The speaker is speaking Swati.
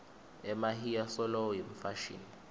emahiya solo yimfashini